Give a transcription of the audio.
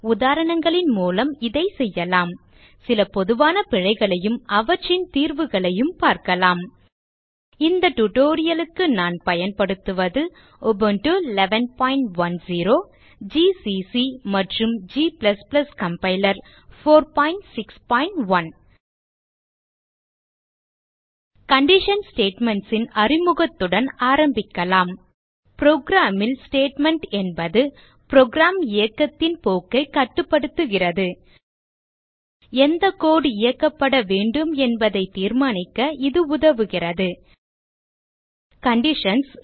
உதாரணங்களின் மூலம் இதை செய்யலாம் சில பொதுவான பிழைகளையும் அவற்றின் தீர்வுகளையும் பார்க்கலாம் இந்த டியூட்டோரியல் க்கு நான் பயன்படுத்துவது உபுண்டு 1110 ஜிசிசி மற்றும் g கம்பைலர் 461 கண்டிஷன் ஸ்டேட்மென்ட்ஸ் ன் அறிமுகத்துடன் ஆரம்பிக்கலாம் program ல் ஸ்டேட்மெண்ட் என்பது புரோகிராம் இயக்கத்தின் போக்கைக் கட்டுப்படுத்துகிறது எந்த கோடு இயக்கப்படவேண்டும் என்பதை தீர்மானிக்க இது உதவுகிறது கண்டிஷன்ஸ்